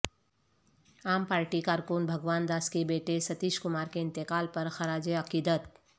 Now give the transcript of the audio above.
عام پارٹی کارکن بھگوان داس کے بیٹے ستیش کمار کے انتقال پر خراج عقیدت